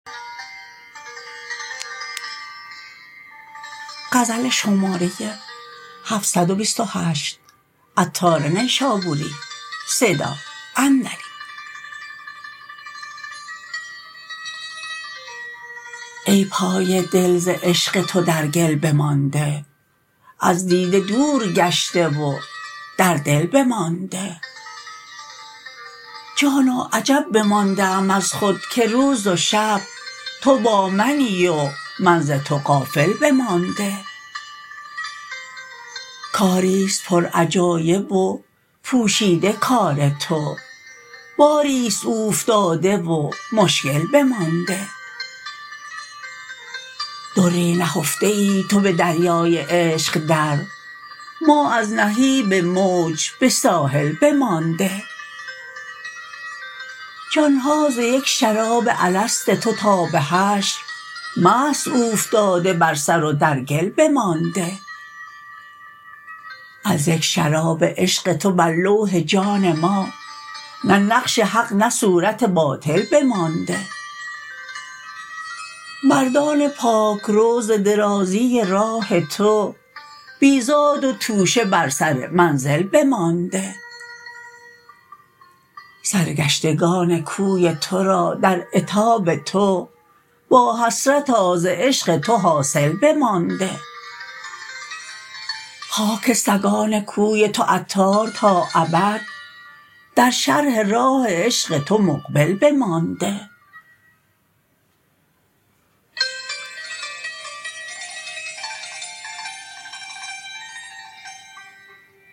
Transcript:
ای پای دل ز عشق تو در گل بمانده از دیده دور گشته و در دل بمانده جانا عجب بمانده ام از خود که روز و شب تو با منی و من ز تو غافل بمانده کاری است پر عجایب و پوشیده کار تو باری است اوفتاده و مشکل بمانده دری نهفته ای تو به دریای عشق در ما از نهیب موج به ساحل بمانده جان ها ز یک شراب الست تو تا به حشر مست اوفتاده بر سر و در گل بمانده از یک شراب عشق تو بر لوح جان ما نه نقش حق نه صورت باطل بمانده مردان پاک رو ز درازی راه تو بی زاد و توشه بر سر منزل بمانده سرگشتکان کوی تو را در عتاب تو واحسرتا ز عشق تو حاصل بمانده خاک سگان کوی تو عطار تا ابد در شرح راه عشق تو مقبل بمانده